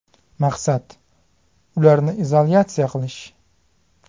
Maqsad – ularni izolyatsiya qilish.